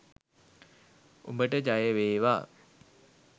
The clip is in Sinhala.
උඹට ජයවේවා